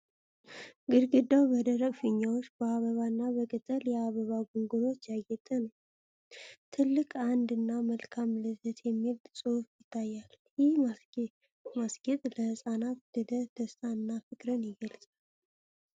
ግድግዳው በደማቅ ፊኛዎች፣ በአበባ እና በቅጠል የአበባ ጉንጉኖች ያጌጠ ነው። ትልቅ "1" እና "መልካም ልደት" የሚል ጽሑፍ ይታያል። ይህ ማስጌጥ ለህጻናት ልደት ደስታንና ፍቅርን ይገልጻል።